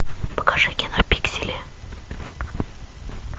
покажи кино пиксели